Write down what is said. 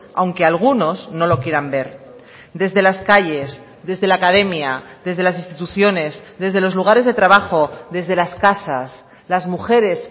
aunque algunos no lo quieran ver desde las calles desde la academia desde las instituciones desde los lugares de trabajo desde las casas las mujeres